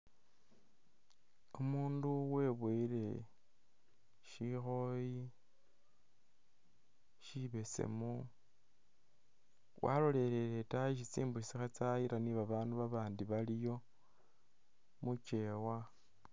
Umundu webowele shikhooyi shibesemu, waloleleye itaayi isi tsimbusi kha tsayila ni ba bandu ba bandi baliyo mukyeewa.